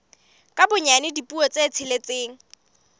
ka bonyane dipuo tse tsheletseng